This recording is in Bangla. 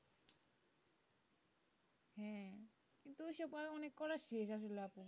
হ্যাঁ কিন্তু ঐসব বার অনেক কোরেসি যা যা লাগবে।